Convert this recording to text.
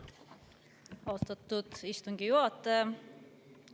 Austatud istungi juhataja!